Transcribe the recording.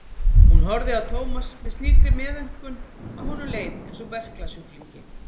Hún horfði á Thomas með slíkri meðaumkun að honum leið einsog berklasjúklingi.